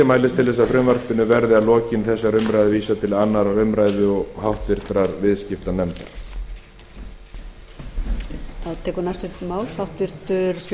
mælist til þess að frumvarpinu verði að lokinni þessari umræðu vísað til annarrar umræðu og háttvirtur viðskiptanefndar